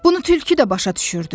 Bunu tülkü də başa düşürdü.